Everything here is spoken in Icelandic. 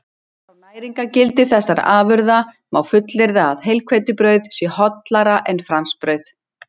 Út frá næringargildi þessara afurða má fullyrða að heilhveitibrauð sé hollara en franskbrauð.